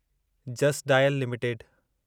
just dial limited